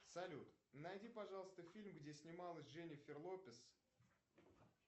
салют найди пожалуйста фильм где снималась дженифер лопес